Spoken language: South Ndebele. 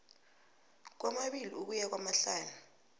kwamabili ukuya kwamahlanu